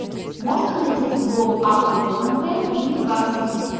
можно найти футбол апл тоттенхэм и ньюкасл